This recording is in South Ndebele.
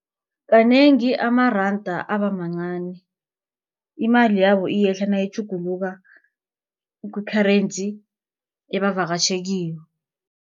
Kanengi amaranda abamancani, imali yabo iyehla nayitjhuguluka ku-currency ebavakatjhela kiyo.